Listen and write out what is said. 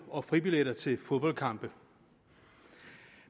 og fribilletter til fodboldkampe